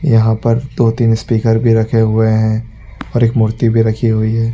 यहाँ पर दो-तीन स्पीकर भी रखे हुए हैं और एक मूर्ति भी रखी हुई है।